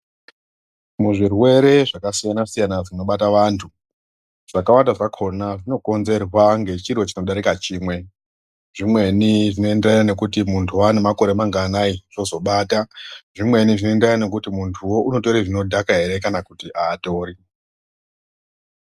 Muzvirwere zvakasiyana -siyana zvinobata antu zvakawanda zvakona zvinokonzerwa ngechiro chinodarika chimwe zvinoendera nekuti munhu wanemakore manganai zvozobata zvimweni zvinoenderana nekuti muntu wo unotora zvinodhaka ere kana kuti aatori.